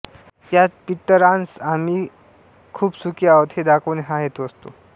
यात पितरांस आम्ही खूप सुखी आहोत हे दाखवणे हा हेतू असतो